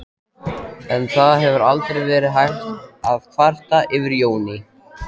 En það hefur aldrei verið hægt að kvarta yfir Jóni.